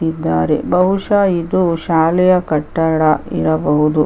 ಬಹುಶ ಇದು ಶಾಲೆಯ ಕಟ್ಟಡ ಇರಬಹುದು.